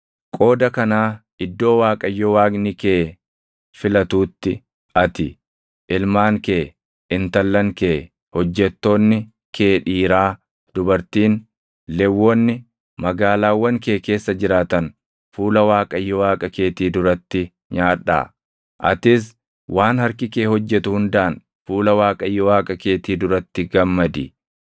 Qooda kanaa iddoo Waaqayyo Waaqni kee filatuutti ati, ilmaan kee, intallan kee, hojjettoonni kee dhiiraa dubartiin, Lewwonni magaalaawwan kee keessa jiraatan fuula Waaqayyo Waaqa keetii duratti nyaadhaa; atis waan harki kee hojjetu hundaan fuula Waaqayyo Waaqa keetii duratti gammadi.